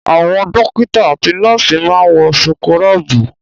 Àwọn dọ́kítá àti nọ́ọ́sì máa ń wọ súkúrọ́bì.